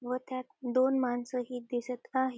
व त्यात दोन माणसं ही दिसत आहेत.